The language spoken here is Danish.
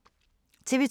TV 2